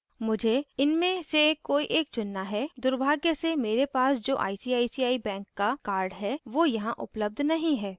मुझे इनमे से कोई एक चुनना है दुर्भाग्य से मेरे पास जो icici bank का card है वो यहाँ उपलब्ध नहीं है